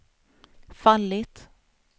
fallit